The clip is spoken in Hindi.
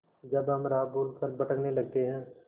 जब हम राह भूल कर भटकने लगते हैं